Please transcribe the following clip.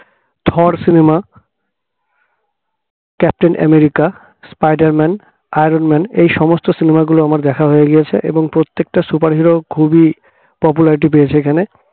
থর cinema captain America spider man, iron man এই সমস্ত cinema গুলো আমার দেখা হয়ে গিয়েছে এবং প্রত্যেকটা superhero খুবই popularity পেয়েছে এখানে